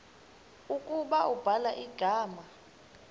ukuba ubhala igama